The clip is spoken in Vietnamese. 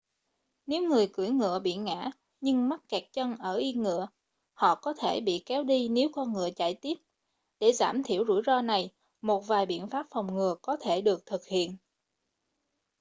nếu người cưỡi ngựa bị ngã nhưng mắc kẹt chân ở yên ngựa họ có thể bị kéo đi nếu con ngựa chạy tiếp để giảm thiểu rủi ro này một vài biện pháp phòng ngừa có thể được thực hiện